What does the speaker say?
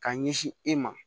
K'a ɲɛsin e ma